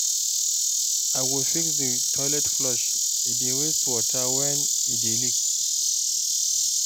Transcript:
I go fix di toilet flush, e dey waste water wen e dey leak.